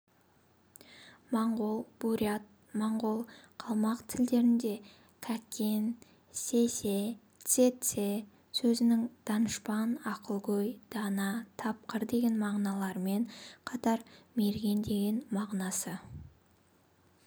моңғол бурят-моңғол қалмақ тілдерінде кәкен сэсэ цэцэ сөзінің данышпан ақылгөй дана тапқыр деген мағыналарымен қатар мерген деген мағынасы